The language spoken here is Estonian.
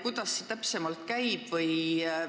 Kuidas see täpsemalt käib?